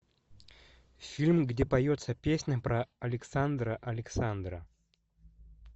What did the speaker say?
фильм где поется песня про александра александра